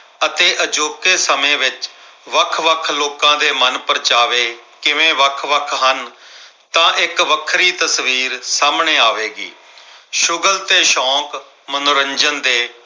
ਅਤੇ ਅਜੋਕੇ ਸਮੇਂ ਵਿੱਚ ਵੱਖ-ਵੱਖ ਲੋਕਾਂ ਦੇ ਮਨਪ੍ਰਚਾਵੇ ਕਿਵੇਂ ਵੱਖ-ਵੱਖ ਹਨ। ਤਾਂ ਇੱਕ ਵੱਖਰੀ ਤਸਵੀਰ ਸਾਹਮਣੇ ਆਵੇਗੀ। ਸ਼ੁਗਲ ਤੇ ਸ਼ੌਕ ਮਨੋਰੰਜਨ ਦੇ